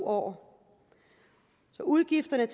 år så udgifterne